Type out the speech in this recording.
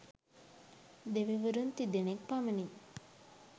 දෙවිවරුන් තිදෙනෙක් පමණි.